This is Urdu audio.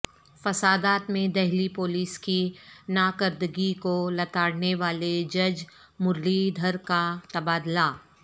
فسادات میں دہلی پولیس کی ناکردگی کو لتاڑنے والے جج مرلی دھر کا تبادلہ